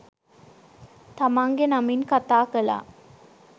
තමන්ගෙ නමින් කථා කළා